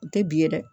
U tɛ bi ye dɛ